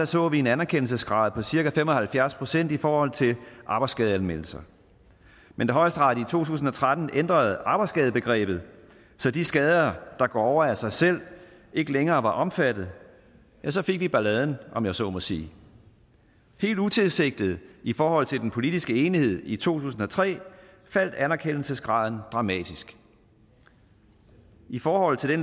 så vi en anerkendelsesgrad på cirka fem og halvfjerds procent i forhold til arbejdsskadeanmeldelser men da højesteret i to tusind og tretten ændrede arbejdsskadebegrebet så de skader der går over af sig selv ikke længere var omfattet ja så fik vi balladen om jeg så må sige helt utilsigtet i forhold til den politiske enighed i to tusind og tre faldt anerkendelsesgraden dramatisk i forhold til det